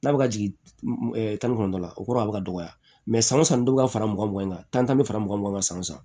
N'a bɛ ka jigin tan ni kɔnɔntɔn la o kɔrɔ a bɛ ka dɔgɔya san o san dɔ bɛ ka fara mugan kan tan bɛ fara mugan kan san wo san